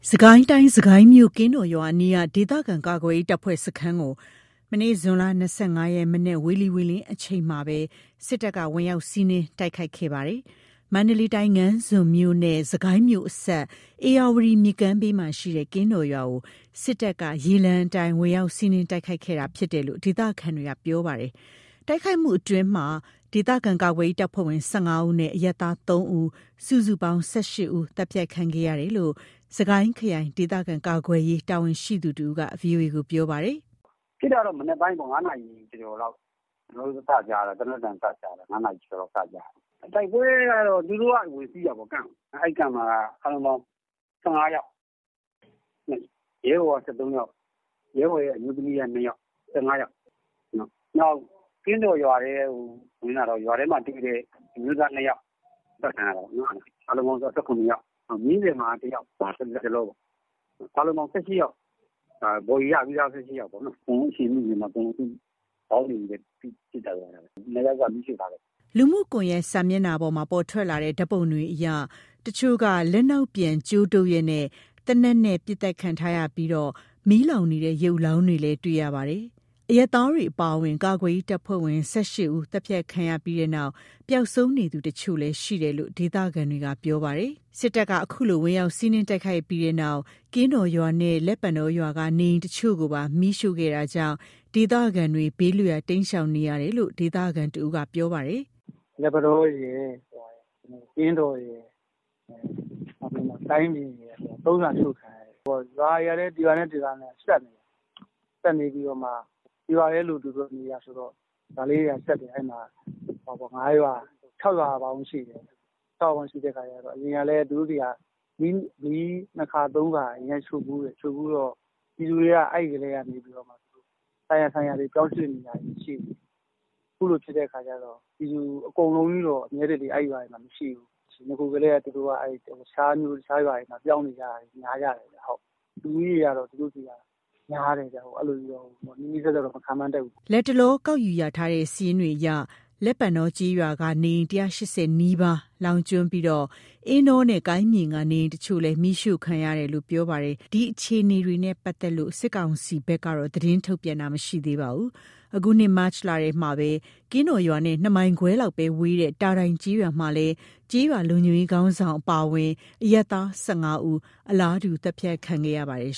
စစ်ကိုင်းတိုင်း စစ်ကိုင်းမြို့ ကင်းတော်ရွာအနီးက ဒေသခံကာကွယ်ရေး တပ်ဖွဲ့ စခန်းကို မနေ့ ဇွန် ၂၅ ရက် မနက် ဝေလီဝေလင်းအချိန်မှာပဲ စစ်တပ်က ဝင်ရောက်စီးနင်း တိုက်ခိုက်ခဲ့တာပါ။ မန္တလေးတိုင်း ငါန်းဇွန်းမြို့နဲ့ စစ်ကိုင်းမြို့ အစပ် ဧရာဝတီမြစ်ကမ်းဘေးမှာ ရှိတဲ့ ကင်းတော်ရွာကို စစ်တပ်က ရေလမ်းအတိုင်း ဝင်ရောက်စီးနင်းတိုက်ခိုက်ခဲ့တာ ဖြစ်တယ်လို့ ဒေသခံတွေက ပြောပါတယ်။ တိုက်ခိုက်မှုအတွင်း ဒေသခံကာကွယ်ရေး တပ်ဖွဲ့ဝင် ၁၅ ဦးနဲ့ အရပ်သား ၃ ဦး စုစုပေါင်း ၁၈ ဦး သတ်ဖြတ်ခံခဲ့ရတယ်လို့ စစ်ကိုင်းခရိုင် ဒေသခံကာကွယ်ရေး တာဝန်ရှိသူတဦးက ဗွီအိုအေကို ပြောပါတယ်။ “ဖြစ်တာက ၅ နာရီကျော်ကျော်လောက် ကျွန်တော်တို့ သေနတ်သံကြားရတာ ၅ နာရီကျော်ကျော်လောက် ကြားရတာ။ တိုက်ပွဲကတော့ သူတို့က ဝင်စီးတာပေါ့ Camp ကို အဲ့ Camp မှာက အားလုံးပေါင်း ၁၅ ယောက်။ ရဲဘော်က ၁၃ ယောက် ရဲဘော်အမျိုးသမီးက ၂ ယောက် ၁၅ ယောက် ကင်းတော်ရွာထဲကို ဝင်လာတော့ ရွာထဲမှာ တွေ့တဲ့ အမျိုးသား ၂ ယောက် အသတ်ခံရတာပေါ့နော်။ အားလုံးပေါင်း ၁၇ ယောက် နောက်ပြီး မြင်းဆည်(ရွာ) မှာက ၁ ယောက် အားလုံးပေါင်း ၁၈ ယောက် ဘော်ဒီရပြီးသား ၁၈ ယောက်ပေါ့နော်။ အကုန်လုံး အရှင်မိပြီးမှ ခေါင်းတွေပဲ ပစ်သတ်ထားခဲ့တာ။ ၂ ယောက်က မီးရှို့ထားခဲ့တယ်။” လူမှုကွန်ယက် စာမျက်နှာမှာ ပေါ်ထွက်လာတဲ့ ဓာတ်ပုံတွေအရ တချို့က လက်နောက်ပြန် ကြိုးတုပ်လျက် သေနတ်နဲ့ ပစ်သတ်ခံထားရပြီး မီးလောင်နေတဲ့ ရုပ်အလောင်းတွေလည်း တွေ့ရပါတယ်။ အရပ်သား တွေအပါအဝင် ကာကွယ်ရေး တပ်ဖွဲ့ဝင် ၁၈ ဦး သတ်ဖြတ်ခံရပြီးနောက် ပျောက်ဆုံးနေသူအချို့လည်း ရှိတယ်လို့ ဒေသခံတွေက ပြောပါတယ်။ စစ်တပ်က အခုလို ဝင်ရောက် စီးနင်းတိုက်ခိုက်ပြီးတဲ့နောက် ကင်းတော်ရွာနဲ့ လက်ပန်တောရွာက နေအိမ်အချို့ကိုပါ မီးရှို့ခံခဲ့တာကြောင့် ဒေသခံတွေ ဘေးလွတ်ရာ တိမ်းရှောင်နေရတယ်လို့ ဒေသခံတဦးက ပြောပါတယ်။ “လက်ပန်တောရယ် ကင်းတော်ရယ် ကိုင်းပြင်ရယ် ၃ ရွာ အရှို့ခံရတယ်။ ရွာတွေက တရွာနဲ့ တရွာက်ဆက်နေတာ။ ဆက်နေပြီးမှ တရွာတည်းလို သူတို့ကနေတာဆိုတော့ ရွာလေးတွေက ဆက်တယ်။ အဲ့မှာ ၅ ရွာ ၆ ရွာပေါင်းရှိတယ်။ ၆ ရွာပေါင်းရှိတဲ့အခါ အရင်ကလည်း သူတို့ဆီမှာ မီး ၂ ခါ ၃ ခါ ရှို့ဖူးတယ်။ ပြည်သူတွေက အဲ့ကတည်းက ဆိုင်ရာ ဆိုင်ရာတွေ ပြောင်းရွှေ့နေရတာရှိတယ်။ အခုလိုဖြစ်တော့ ပြည်သူတွေက အမြဲတစေ အဲ့ရွာတွေမှာ မရှိဘူး။ နဂိုကတည်းက တခြးမြို့ တခြားရွာတွေမှာ ပြောင်းနေကြတာ ရှိတယ်။ လူဦးရေက သူတို့ဆီက များတယ်။ နီးနီးစပ်စပ်တော့ မခန့်မှန်းတတ်ဘူး။” လတ်တလော စာရင်းကောက်ယူ ရထားတဲ့ စာရင်းတွေအရ လက်ပံတော ကျေးရွာက နေအိမ် ၁၈၀ နီးပါး လောင်ကျွမ်းပြီး အင်းတောနဲ့ ကိုင်းပြင်က နေအိမ်အချို့လည်း မီးရှို့ခံရတယ်လို့ ပြောပါတယ်။ ဒီအခြေအနေတွေနဲ့ ပတ်သက်လို့ စစ်ကောင်စီဘက်ကတော့ သတင်းထုတ်ပြန်တာ မရှိသေးပါဘူး။ အခုနှစ် မတ်လထဲမှာပဲ ကင်းတော် ရွာနဲ့ ၂ မိုင်ခွဲလောက်သာ ဝေးတဲ့ တာတိုင်ကျေးရွာမှာလည်း ကျေးရွာ လုံခြုံရေးခေါင်းဆောင် အပါအဝင် အရပ်သား ၁၅ ဦး လည်း အလားတူ သတ်ဖြတ်ခံခဲ့ရပါတယ်